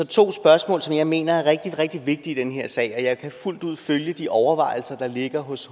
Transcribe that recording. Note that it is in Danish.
to spørgsmål som jeg mener er rigtig rigtig vigtige i den her sag jeg kan fuldt ud følge de overvejelser der ligger hos